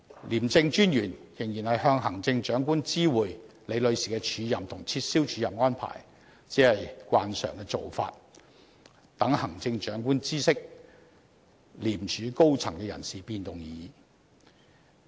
廉政專員仍然知會行政長官有關李女士的署任和撤銷署任安排，只是慣常的做法，讓行政長官知悉廉署高層人事變動而已。